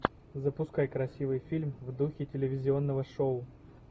запускай красивый фильм в духе телевизионного шоу